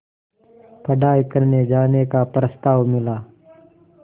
पढ़ाई करने जाने का प्रस्ताव मिला